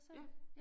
Ja